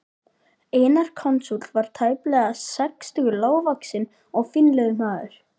Einar konsúll var tæplega sextugur, lágvaxinn og fínlegur maður.